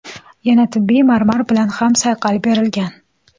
Yana tabiiy marmar bilan ham sayqal berilgan.